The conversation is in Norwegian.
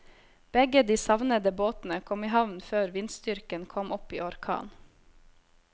Begge de savnede båtene kom i havn før vindstyrken kom opp i orkan.